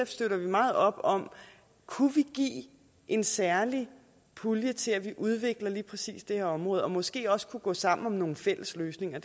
støtter vi meget op om at kunne give en særlig pulje til at vi udvikler lige præcis det her område måske også gå sammen om nogle fælles løsninger